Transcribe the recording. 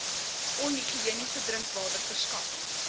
onhigiëniese drinkwater verskaffing